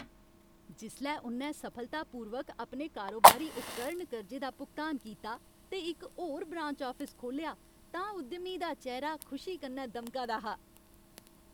जिसलै उ'न्नै सफलतापूर्वक अपने कारोबारी उपकरण कर्जे दा भुगतान कीता ते इक होर ब्रांच आफिस खोह्लेआ तां उद्यमी दा चेह्रा खुशी कन्नै दमका दा हा।